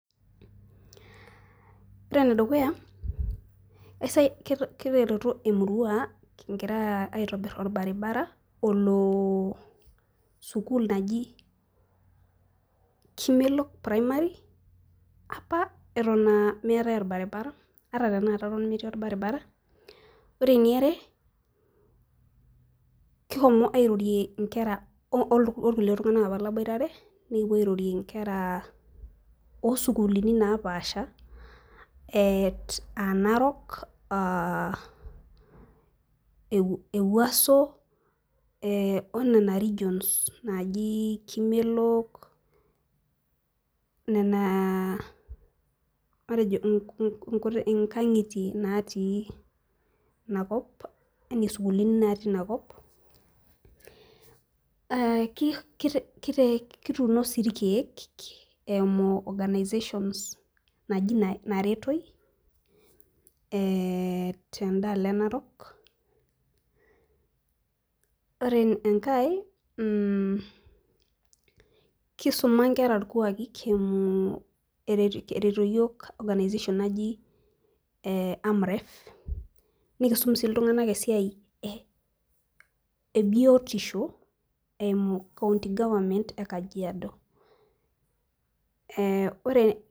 Ore ene dukya kitereto emurua kigira aitobir olbaribara olo, olo sukuul naji kimelok primary. apa eton meetae olbaribara, ata tenakata eton metii olbaribara, ore eniare kishomo airorie nkera okuli tunganak apa laboitare, nikipuo airorie nkera oosukuulni naapashipaasha.te narok, ewuaso, ee o nena regions naaji kimelok, nena matejo inkangitie natii ina kop. matejo sukuulini natii ina kop, kituuno sii irkeek eimu organizations naji naretoi, teda alo e narok, ore enkae, kisuma nkera irkuaaki kiimu, eretito iyiook organization naji amref nikisum sii iltunganak esiai ebioitisho eimu county government e kajiado.